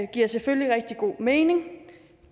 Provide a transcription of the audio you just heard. giver selvfølgelig rigtig god mening